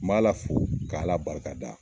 N m'ala fo k'ala barikada